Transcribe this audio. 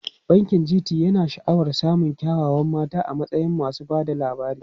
Bankin GT yana sha'awar samun kyawawan mata a matsayin masu ba da labari.